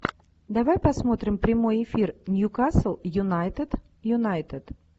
давай посмотрим прямой эфир ньюкасл юнайтед юнайтед